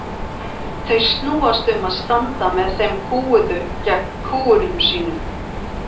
Þau snúast um að standa með þeim kúguðu gegn kúgurum sínum.